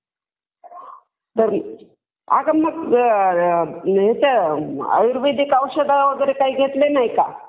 अगं मग इथं आयुर्वेदिक औषध वगैरे काय घेतलेले नाही का?